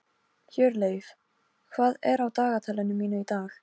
Hjörleif, hvað er á dagatalinu mínu í dag?